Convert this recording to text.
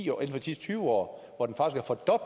tyve år